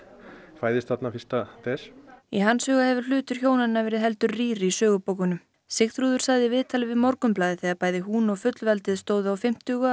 fæðist þarna fyrsta des í hans huga hefur hlutur hjónanna verið heldur rýr í sögubókunum Sigþrúður sagði í viðtali við Morgunblaðið þegar bæði hún og fullveldið stóðu á fimmtugu að